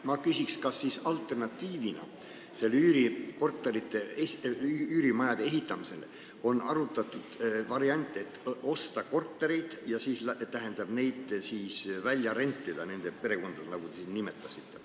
Ma küsiks, kas alternatiivina üürikorterite ja üürimajade ehitamisele on arutatud varianti, et osta kortereid ja neid siis välja rentida niisugustele perekondadele, keda te siin nimetasite.